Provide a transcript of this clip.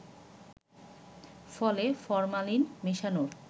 ফলে ফরমালিন মেশানোর